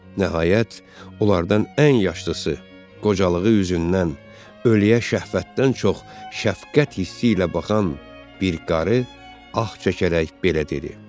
Nəhayət, onlardan ən yaşlısı, qocalığı üzündən ölüyə şəhvətdən çox şəfqət hissi ilə baxan bir qarı ah çəkərək belə dedi.